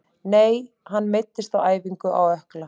Nei hann meiddist á æfingu, á ökkla.